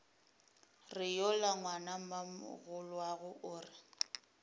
re yola ngwanamogolwago o re